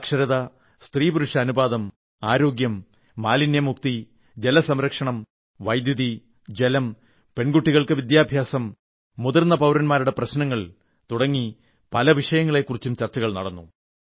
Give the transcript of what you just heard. സാക്ഷരത സ്ത്രീപുരുഷ അനുപാതം ആരോഗ്യം മാലിന്യമുക്തി ജല സംരക്ഷണം വൈദ്യുതി ജലം പെൺകുട്ടികളുടെ വിദ്യാഭ്യാസം മുതിർന്ന പൌരൻമാാരുടെ പ്രശ്നങ്ങൾ തുടങ്ങി പല വിഷയങ്ങളെക്കുറിച്ചും ചർച്ചകൾ നടന്നു